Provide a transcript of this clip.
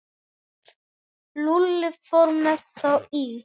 Lúlli fór með þá í